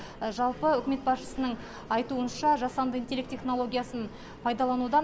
жалпы үкімет басшысының айтуынша жасанды интелект технологиясын пайдаланудан